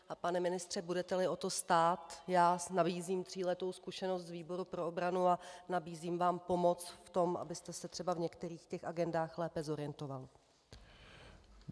Pane ministře, budete-li o to stát, nabízím tříletou zkušenost z výboru pro obranu a nabízím vám pomoc v tom, abyste se třeba v některých těch agendách lépe zorientoval.